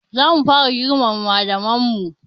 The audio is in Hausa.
Za mu fara girmama malaman mu